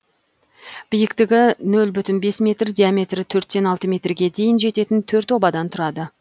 биіктігі нөл бүтін бес метр диаметрі төрттен алты метрге дейін жететін төрт обадан тұрады